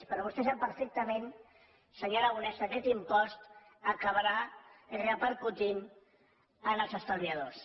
però vostè sap perfectament senyor aragonès que aquest impost acabarà repercutint en els estalviadors